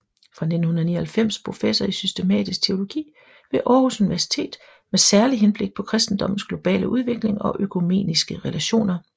Fra 1999 professor i systematisk teologi ved Aarhus Universitet med særlig henblik på kristendommens globale udvikling og økumeniske relationer